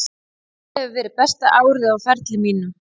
Þetta hefur verið besta árið á ferli mínum.